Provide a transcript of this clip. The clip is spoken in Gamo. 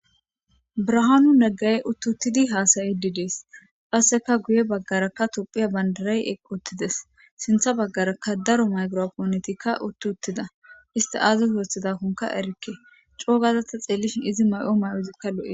Brahaanu neggay uttuttidi haasayi didees qasseka guye baggaraka tophiya bandarey eqoottides sintha baggaraka daro maygiro ponetikka uttuttida iste aazu hoothidakkonka erikke coogazatta xeellishin izi may'o may'ozikka lo'i